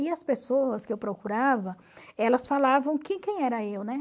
E as pessoas que eu procurava, elas falavam que quem era eu, né?